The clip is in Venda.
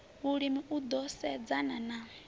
vhulimi u ḓo sedzana na